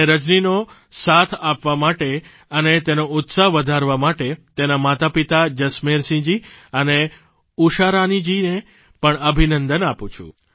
અને રજનીનો સાથ આપવા માટે અને તેનો ઉત્સાહ વધારવા માટે તેનાં માતાપિતા જસમેરસિંહજી અને ઉષારાનીજીને પણ અભિનંદન આપું છું